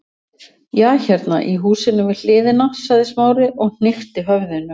Já, hérna í húsinu við hliðina- sagði Smári og hnykkti höfðinu.